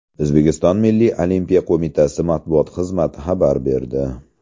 O‘zbekiston Milliy Olimpiya qo‘mitasi matbuot xizmati xabar berdi .